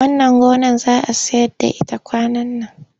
Wannan gonar za a sayar da ita kwanan nan.